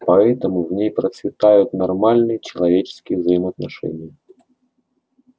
поэтому в ней процветают нормальные человеческие взаимоотношения